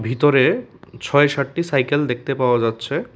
ভিতরে ছয় ষাটটি সাইকেল দেখতে পাওয়া যাচ্ছে।